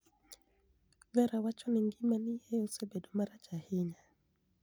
Vera wacho nii nigimani e osebedo marach ahiniya.